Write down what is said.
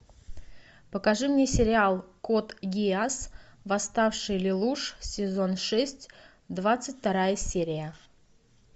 покажи мне сериал код гиас восставший лелуш сезон шесть двадцать вторая серия